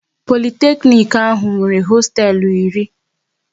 Politeknic ahụ nwere hosteelu iri